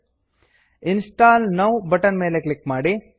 install now install now button ಮೇಲೆ click ಮಾಡಿ